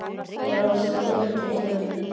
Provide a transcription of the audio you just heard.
Brostir til mín.